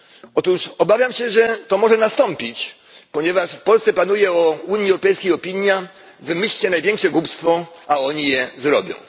Otóż obawiam się, że to może nastąpić, ponieważ w Polsce panuje o Unii Europejskiej opinia wymyślcie największe głupstwo, a oni je zrobią.